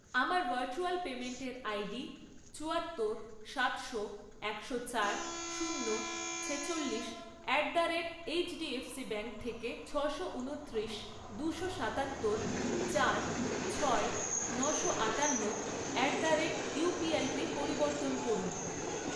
আমার ভার্চুয়াল পেমেন্টের আইডি চুয়াত্তর, সাতশো, একশো চার, শূন্য, ছেচল্লিশ at the rate HDFC bank থেকে ছশো উনত্রিশ, দুশো সাতাত্তর, চার, ছয়, নশো আটান্ন অ্যাট দ্য রেট ইউপিআইতে পরিবর্তন করুন।